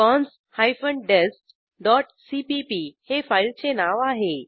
cons hyphen dest dot CPP हे फाईलचे नाव आहे